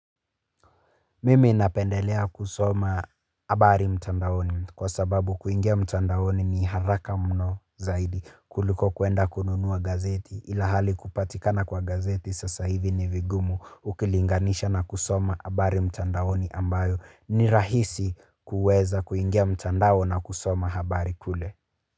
Mimi napendelea kusoma habari mtandawoni kwa sababu kuingia mtandawoni ni haraka mno zaidi kuliko kuenda kununua gazeti ila hali kupatikana kwa gazeti sasa hivi ni vigumu ukilinganisha na kusoma habari mtandawoni ambayo ni rahisi kuweza kuingia mtandawoni na kusoma habari kule.